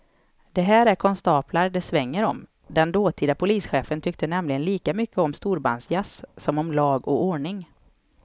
Det här är konstaplar det svänger om, den dåtida polischefen tyckte nämligen lika mycket om storbandsjazz som om lag och ordning.